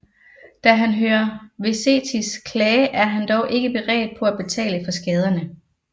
Da han hører Vesetis klage er han dog ikke beredt på at betale for skaderne